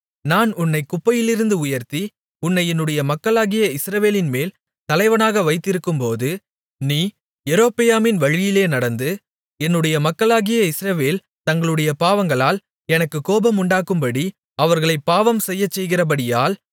நான் உன்னைத் குப்பையிலிருந்து உயர்த்தி உன்னை என்னுடைய மக்களாகிய இஸ்ரவேலின்மேல் தலைவனாக வைத்திருக்கும்போது நீ யெரொபெயாமின் வழியிலே நடந்து என்னுடைய மக்களாகிய இஸ்ரவேல் தங்களுடைய பாவங்களால் எனக்குக் கோபமுண்டாக்கும்படி அவர்களைப் பாவம் செய்யச்செய்கிறபடியால்